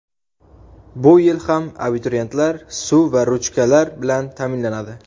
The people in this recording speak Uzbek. Bu yil ham abituriyentlar suv va ruchkalar bilan taʼminlanadi.